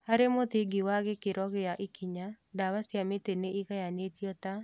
Harĩ mũthingi wa gĩkĩro gĩa ikinya, ndawa cia mĩtĩ nĩigayanĩtio ta